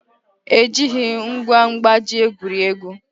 Ejighị ngwa mkpaji egwuri egwu